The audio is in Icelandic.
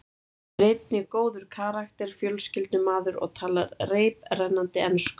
Hann er einnig góður karakter, fjölskyldumaður og talar reiprennandi ensku.